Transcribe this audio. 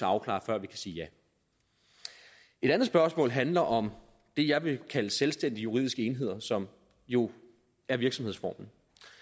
afklare før vi kan sige ja et andet spørgsmål handler om det jeg vil kalde selvstændige juridiske enheder som jo er virksomhedsformen